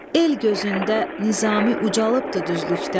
El gözündə Nizami ucalıbdır düzlükdən.